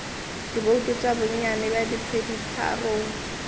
dibouto tša bonnyane bja peditharong